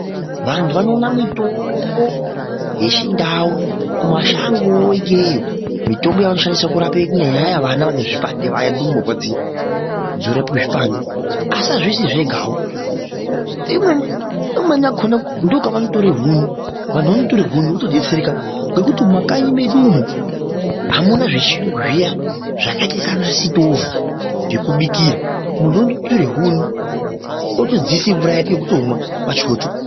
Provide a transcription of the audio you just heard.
Vanhu vanoona mitombo yechindau kumashangeyo ikeyo, mitombo yavanoshanise kurape vana vane zvipande, ndumure dziya, dzorapwe zvipande. Asi azvisi zvegawo, imweni yakhona ndokanotore huni votodetsereka, nekuti mumakanyi mwedu umu hamuna zvechiyungu zviya zvakaita seana sitovhu, zvekubikira, muntu utore huni otodziisa mvura yake yekutomwa pachwoto.